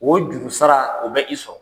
O jurusara o bɛ i sɔrɔ.